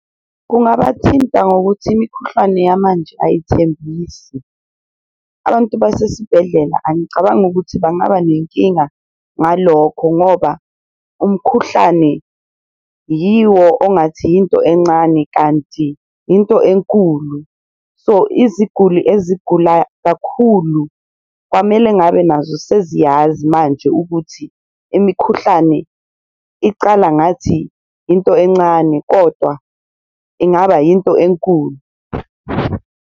Kungabathinta ngokuthi imikhuhlwane yamanje ayithembisi abantu basesibhedlela angicabangi ukuthi bangaba nenkinga ngalokho ngoba umkhuhlane yiwo ongathi yinto encane, kanti into enkulu. So iziguli ezigula kakhulu kwamele ngabe nazo seziyazi manje ukuthi imikhuhlane icala ngathi into encane kodwa ingaba yinto enkulu.